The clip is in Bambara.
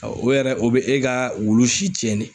O yɛrɛ o bɛ e ka wulu si tiɲɛn de